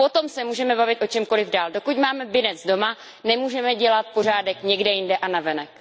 Potom se můžeme bavit o čemkoliv dále, dokud máme nepořádek doma, nemůžeme dělat pořádek někde jinde a navenek.